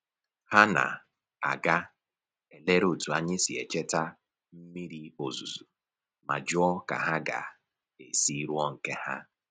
Ha na-aga elere otu anyị si echeta mmiri ozuzu ma jụọ ka ha ga-esi rụọ nke ha